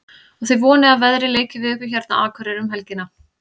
Og þið vonið að veðrið leiki við ykkur hérna á Akureyri um helgina?